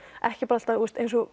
ekki bara alltaf eins og